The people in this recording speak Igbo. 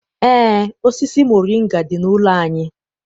Eé, osisi moringa dị n'ụlọ anyị.